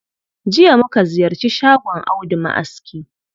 Jiya muka ziyarci shagon Audu ma'aski